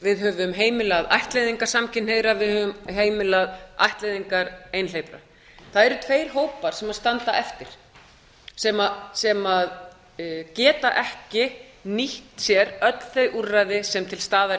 við höfum heimilað ættleiðingar samkynhneigðra við höfum heimilað ættleiðingar einhleypra það eru tveir hópar sem standa eftir sem geta ekki nýtt sér öll þau úrræði sem til staðar